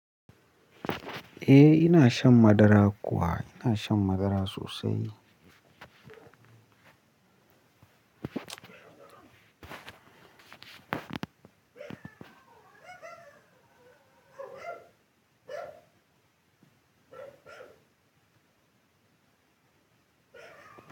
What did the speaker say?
Eh ina shan madara kuwa, ina shan madara sosai.